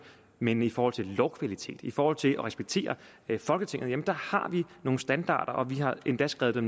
men i forhold til lovkvalitet i forhold til at respektere folketinget har vi nogle standarder og vi har endda skrevet